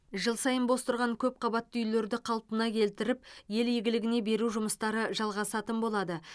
жыл сайын бос тұрған көпқабатты үйлерді қалпына келтіріп ел игілігіне беру жұмыстары жалғасатын болады